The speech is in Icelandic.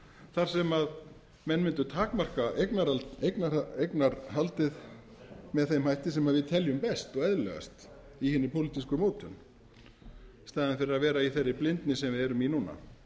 þar sem menn mundu takmarka eignarhaldið með þeim hætti sem við teljum best og eðlilegast í hinni pólitísku mótun í staðinn fyrir að vera í þeirri blindni sem við erum í núna